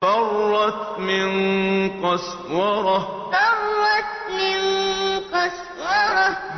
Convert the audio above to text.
فَرَّتْ مِن قَسْوَرَةٍ فَرَّتْ مِن قَسْوَرَةٍ